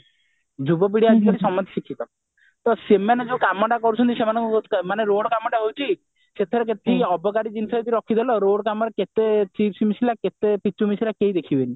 ଯୁବପିଢି ଆସିଲେ ସମସ୍ତେ ଶିଖିବେ ତ ସେମାନେ ଯୋଉ କାମଟା କରୁଛନ୍ତି ସେମାନଙ୍କୁ ବହୁତ ମାନେ road କାମଟା ହଉଛି ସେଥିରେ ଯେତିକି ଅବକାରୀ ଜିନିଷ ସାଥିରେ ରଖିଦେଲ road କମ ରେ କେତେ chips ମିଶିଲା କେତେ ପିଚୁ ମିଶିଲା କେହି ଦେଖିବେନି